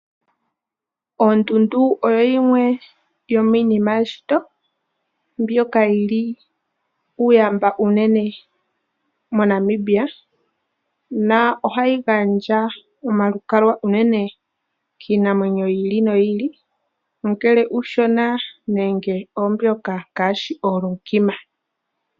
Oondundu oyo yimwe yomiinima yeshito mbyoka yi li uuyamba uunene moNamibia na ohayi gandja omalukalwa unene kiinamwenyo yi ili noyi ili, ongele uushona nenge oombyoka ngaashi oolunkima.